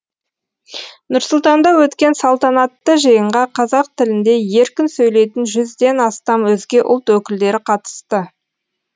нұр сұлтанда өткен салтанатты жиынға қазақ тілінде еркін сөйлейтін жүзден астам өзге ұлт өкілдері қатысты